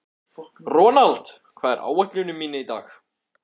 Ronald, hvað er á áætluninni minni í dag?